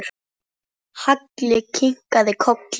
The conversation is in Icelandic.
Halli kinkaði kolli.